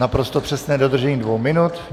Naprosto přesné dodržení dvou minut.